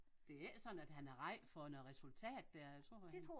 Det er ikke sådan at han er ræd for noget resultat dér jeg tror han